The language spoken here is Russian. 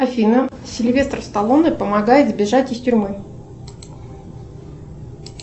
афина сильвестр сталлоне помогает сбежать из тюрьмы